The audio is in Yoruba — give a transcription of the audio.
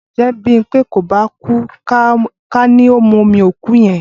Ǹjẹ́ Bímpé kò bá kú ká ní ó mu omi òkú yẹn?